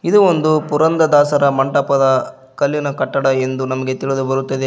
ಇದು ಒಂದು ಪುರಂದರ ದಾಸರ ಮಂಟಪದ ಕಲ್ಲಿನ ಕಟ್ಟಡ ಎಂದು ನಮಗೆ ತಿಳಿದು ಬರುತ್ತದೆ.